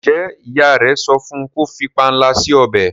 njé ìyá rẹ sọfún kò fí panla si ọbẹ?